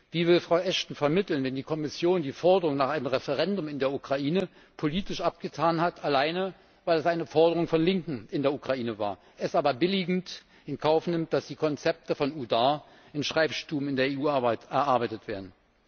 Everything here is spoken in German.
Wie will Frau Ashton vermitteln, wenn die Kommission die Forderung nach einem Referendum in der Ukraine politisch abgetan hat, alleine weil es eine Forderung von Linken in der Ukraine war, es aber billigend in Kauf nimmt, dass die Konzepte von UDAR in Schreibstuben in der EU erarbeitet werden?